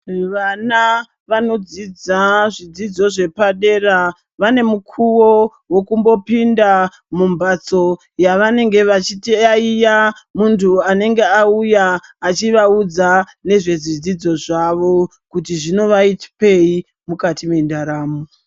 Vana vanodzidza zvidzidzo zvepadera vane mukovo wekumbopinda mumbatso yavanenge vachiyaiya muntu anenge auya achivaudza nezvezvidzidzo zvavo kuti zvinowapei mukati mendaramo.